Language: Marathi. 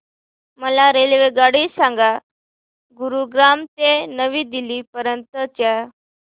मला रेल्वेगाडी सांगा गुरुग्राम ते नवी दिल्ली पर्यंत च्या